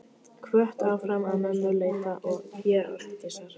Hvött áfram af mömmu leita ég Arndísar.